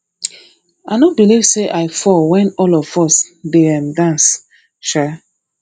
i no believe say i fall wen all of us dey um dance um